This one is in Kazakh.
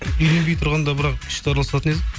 үйленбей тұрғанда бірақ күшті араласатын едік